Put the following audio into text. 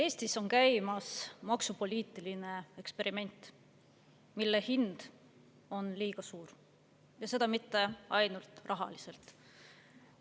Eestis on käimas maksupoliitiline eksperiment, mille hind on liiga suur, ja seda mitte ainult rahaliselt.